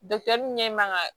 ɲɛ man kan ka